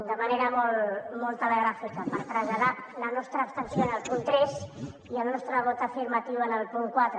de manera molt telegràfica per traslladar la nostra abstenció en el punt tres i el nostre vot afirmatiu en el punt quatre